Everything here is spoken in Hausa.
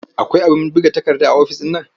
Akwai abin buga takarda a ofis ɗin nan?